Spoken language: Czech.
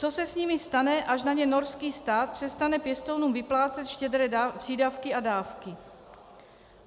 Co se s nimi stane, až na ně norský stát přestane pěstounům vyplácet štědré přídavky a dávky?